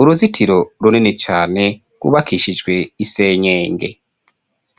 uruzitiro runini cane rwubakishijwe isenyenge